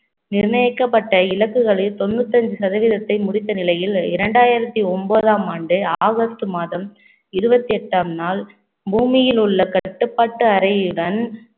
நிர்ணயிக்கப்பட்ட இலக்குகளில் தொண்ணூற்று ஐந்து சதவீதத்தை முடித்த நிலையில் ரெண்டாயிரத்தி ஒன்பதாம் ஆண்டு ஆகஸ்ட் மாதம் இருபத்தி எட்டாம் நாள் பூமியில் உள்ள கட்டுப்பாட்டு அறையுடன்